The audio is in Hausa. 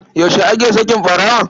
Yaushe ake saki ɓarawon?